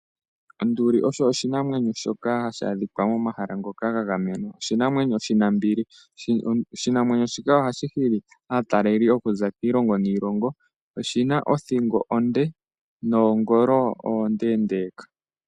Onduli osho oshinamwenyo shoka hashi adhika momahala ngoka gagamenwa . Oshinamwenyo oshinambili . Oshinamwenyo shika ohashi hili aatalelipo okuza kiilongo niilongo . Oshina othingo onde noongolo oondeendeka .